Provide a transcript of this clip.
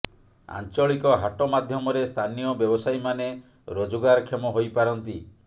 ଆଞ୍ଚଳିକ ହାଟ ମାଧ୍ୟମରେ ସ୍ଥାନୀୟ ବ୍ୟବସାୟୀମାନେ ରୋଜଗାର କ୍ଷମ ହୋଇପାରନ୍ତି